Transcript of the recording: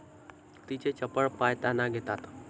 तिचे चपळ पाय ताना घेतात.